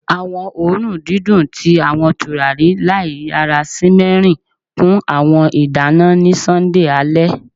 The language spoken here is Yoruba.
Awọn oorun didun ti awọn turari laiyara simmering kun awọn idana ni Sunday ale